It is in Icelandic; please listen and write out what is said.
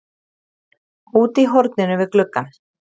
Úti í horninu við gluggann